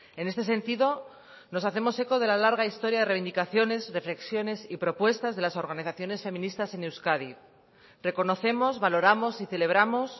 en este sentido nos hacemos eco de la larga historia de reivindicaciones reflexiones y propuestas de las organizaciones feministas en euskadi reconocemos valoramos y celebramos